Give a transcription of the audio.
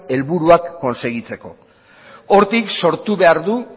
helburuak konsegitzeko hortik sortu behar du